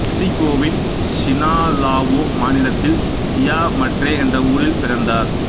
மெக்ஸிகோவின் Sinaloa மாநிலத்தில் சியா மட்ரே என்ற ஊரில் பிறந்தார்